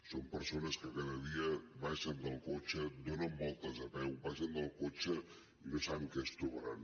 són persones que cada dia baixen del cotxe donen voltes a peu baixen del cotxe i no saben què es trobaran